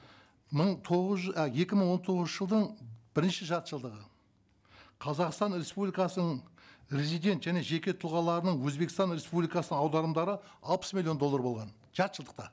мың тоғыз а екі мың он тоғызыншы жылдың бірінші жартыжылдығы қазақстан республикасының резидент және жеке тұлғаларының өзбекстан республикасына аударымдары алпыс миллион доллар болған жартыжылдықта